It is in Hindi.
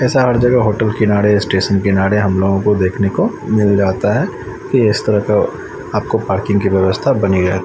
ऐसा हर जगह होटल किनारे स्टेशन किनारे हम लोगों को देखने को मिल जाता है कि इस तरह का आपको पार्किंग की व्यवस्था बनी रहे।